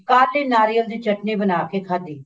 ਕੱਲ ਹੀ ਨਾਰੀਅਲ ਦੀ ਚਟਨੀ ਬਣਾ ਕੇ ਖਾਦੀ